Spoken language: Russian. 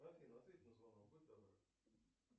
афина ответь на звонок будь добра